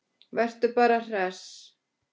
Vertu bara hress!